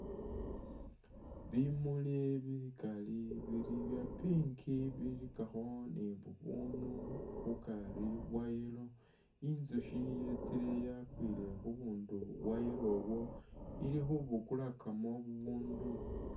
Bimuli bikaali bili bya pink bilikakho ni bubunu mukari bwa yellow. Inzusyi yetsile yakwile khubunu bwa yellow ubwo, ili khubukulakamu bubundu.